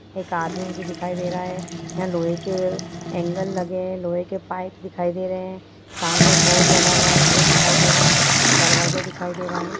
एक आदमी मुझे दिखाई दे रहे है यहाँ लोहे के एंगल लगे है लोहे के पाइप दिखाई दे रहे है सामने एक बोर्ड लगा हुआ हो वो दिखाई दे रहा है दरवाजा दिखाई दे रहा है।